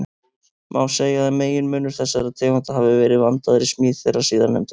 Má segja að meginmunur þessara tegunda hafi verið vandaðri smíð þeirra síðarnefndu.